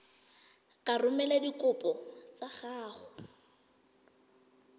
ka romela dikopo tsa gago